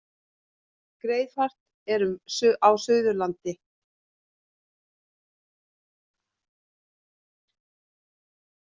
Greiðfært er um Suðurlandi